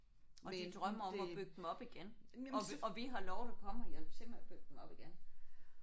Og de drømmer om at bygge dem op igen. Og vi og vi har lovet at komme og hjælpe til med at bygge dem op igen